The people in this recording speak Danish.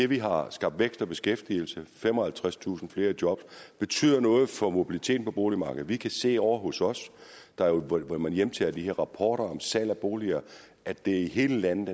vi har skabt vækst og beskæftigelse femoghalvtredstusind flere i job betyder noget for mobiliteten på boligmarkedet vi kan se ovre hos os hvor man hjemtager de her rapporter om salg af boliger at det er i hele landet